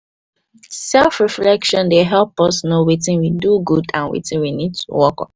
self reflection dey help us no wetin we do good and wetin we need to work on